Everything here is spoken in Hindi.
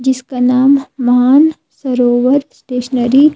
जिसका नाम मान सरोवर स्टेशनरी --